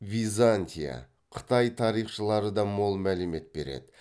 византия қытай тарихшылары да мол мәлімет береді